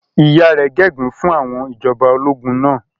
Ìyá rẹ̀ gégùn-ún fún àwọn ìjọba ológun náà.